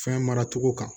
Fɛn mara cogo kan